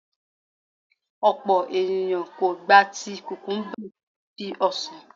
Ọ̀pọ̀ ènìyàn kò gba ti kùkùńbà bí i ọsàn.